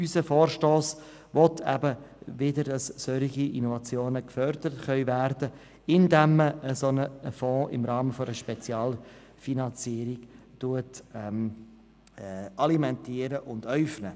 Unser Vorstoss will, dass solche Innovationen wieder gefördert werden können, indem man im Rahmen einer Spezialfinanzierung einen Fonds äufnet.